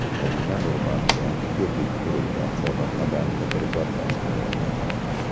Madina Nurman yangi ko‘prik qurilgan chorrahadan fotoreportaj tayyorladi.